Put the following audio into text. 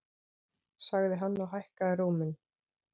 sagði hann og hækkaði róminn.